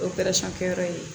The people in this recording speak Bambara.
kɛyɔrɔ ye